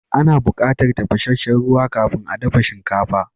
Ana bukatar tafashesshen ruwa kafin a dafa shinkafa.